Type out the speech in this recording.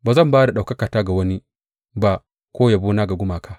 Ba zan ba da ɗaukakata ga wani ba ko yabona ga gumaka.